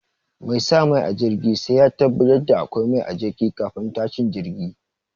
Mai sa mai a jirgi sai ya tabbatar da akwai mai a jirgi kafin tashin jirgi.